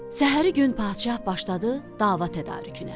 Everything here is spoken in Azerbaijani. Səhəri gün padşah başladı dava tədarükünə.